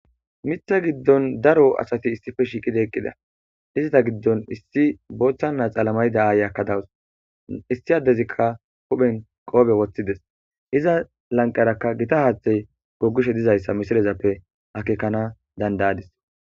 Miththa giddon daro asati issipe shiiqi eqqida izeta giddon issi laxana mayo mayida aayiyakka dawus issi addezika huphe bolla qoope woththides iza lanqeraka gita haathey googishe de7ees.